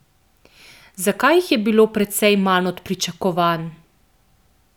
Zakaj jih je bilo precej manj od pričakovanj?